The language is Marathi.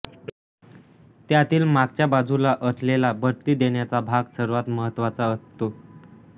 त्यातील मागच्या बाजूला असलेला बत्ती देण्याचा भाग सर्वात महत्त्वाचा असतो